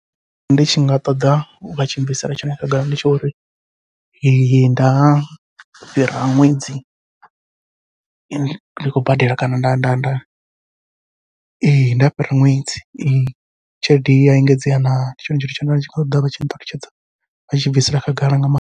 Ndi tshi nga ṱoḓa vha tshi bvisela tshone khagala ndi tsha uri nda fhira ṅwedzi ndi khou badela kana nda nda nda ee nda fhira ṅwedzi ee tshelede ya engedzea na, ndi tshone tshithu tshine nda tshi nga ṱoḓa vha tshi nṱalutshedza vha tshi bvisela khagala nga maanḓa.